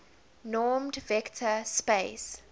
normed vector space